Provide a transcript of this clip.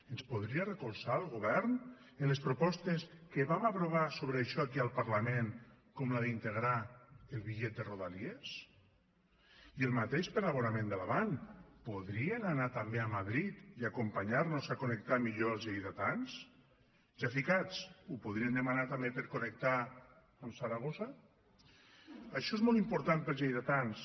ens podria recolzar el govern en les propostes que vam aprovar sobre això aquí al parlament com la d’integrar el bitllet de rodalies i el mateix per a l’abonament de l’avant podrien anar també a madrid i acompanyar nos a connectar millor els lleidatans ja ficats ho podrien demanar també per connectar amb saragossa això és molt important per als lleidatans